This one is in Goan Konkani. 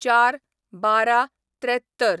०४/१२/७३